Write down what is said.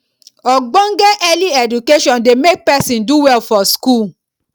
ogbonge early education de make person do well for school